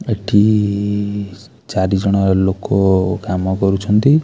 ଏଠି ଇ ଚାରି ଜଣ ଲୋକ କାମ କରୁଛନ୍ତି।